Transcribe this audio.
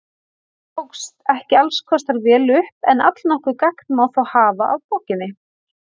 Honum tókst ekki alls kostar vel upp en allnokkuð gagn má þó hafa af bókinni.